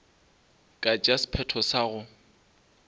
ka tšea sephetho sa go